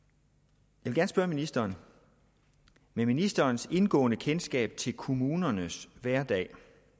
jeg vil gerne spørge ministeren med ministerens indgående kendskab til kommunernes hverdag